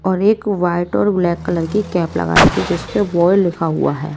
और एक वाइट और ब्लैक कलर की कैप लगा रखी है जिस पे बॉय लिखा हुआ है।